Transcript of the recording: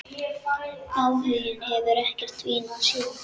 Áhuginn hefur ekkert dvínað síðan.